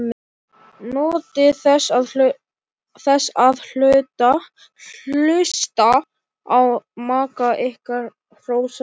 Njótið þess að hlusta á maka ykkar hrósa ykkur.